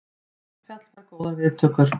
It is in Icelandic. Eldfjall fær góðar viðtökur